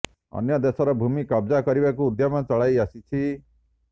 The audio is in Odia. ଅନ୍ୟ ଦେଶର ଭୂମି କବ୍ଜା କରିବାକୁ ଉଦ୍ୟମ ଚଳାଇ ଆସିଛି